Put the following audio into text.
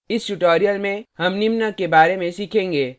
इस tutorial में हम निम्न के बारे में सीखेंगे